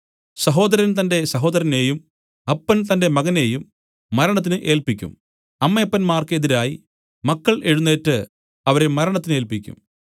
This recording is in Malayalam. സഹോദരൻ തന്റെ സഹോദരനെയും അപ്പൻ തന്റെ മകനെയും മരണത്തിന് ഏല്പിക്കും അമ്മയപ്പന്മാർക്ക് എതിരായി മക്കൾ എഴുന്നേറ്റ് അവരെ മരണത്തിനേല്പിക്കും